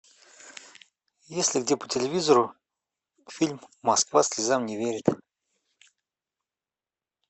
есть ли где по телевизору фильм москва слезам не верит